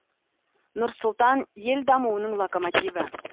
нұр сұлтан ел дамуының локомотиві